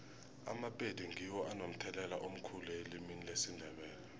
amapedi ngiwo anomthelela omkhulu elimini lesindebele